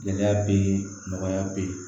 Gɛlɛya bɛ yen nɔgɔya bɛ yen